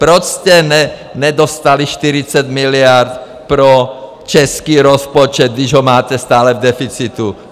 Proč jste nedostali 40 miliard pro český rozpočet, když ho máte stále v deficitu?